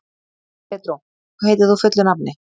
Pedró, hvað heitir þú fullu nafni?